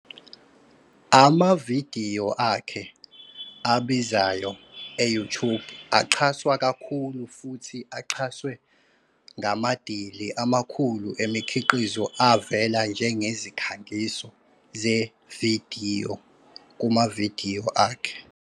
Amavidiyo akhe abizayo e-YouTube axhaswa kakhulu futhi axhaswe ngamadili amakhulu emikhiqizo avela njengezikhangiso zevidiyo kumavidiyo akhe.